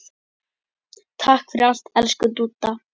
Takk fyrir allt, elsku Dúdda.